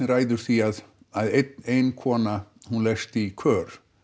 ræður því að ein ein kona leggst í kör